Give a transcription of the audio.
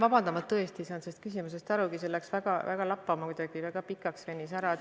Vabandust, ma tõesti ei saanud sellest küsimusest aru, see läks kuidagi väga lappama, venis väga pikaks.